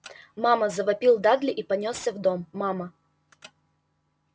мама завопил дадли и понёсся в дом мама